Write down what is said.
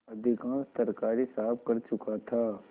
अधिकांश तरकारी साफ कर चुका था